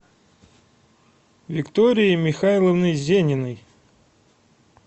викторией михайловной зениной